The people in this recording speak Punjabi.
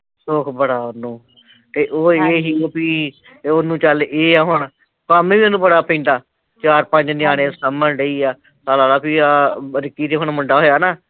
ਸੁਖ ਬੜਾ ਓਹਨੂੰ ਤੇ ਉਹ ਐ ਐ ਓ ਵੀ, ਓਹਨੂੰ ਚੱਲ ਏਹ ਐ ਹੁਣ ਕੰਮ ਈ ਓਹਨੂੰ ਬੜਾ ਪੈਂਦਾ ਚਾਰ ਪੰਜ ਨਿਆਣੇ ਸਾਂਭਣ ਡਈ ਐ, ਆਹ ਲਾਲਾ ਵੀ ਰਿਕੀ ਦੇ ਹੁਣ ਮੁੰਡਾ ਹੋਇਆ ਨਾ?